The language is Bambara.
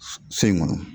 So in kɔnɔ